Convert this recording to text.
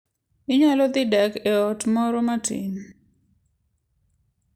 Inyalo dhi dak e ot moro matin.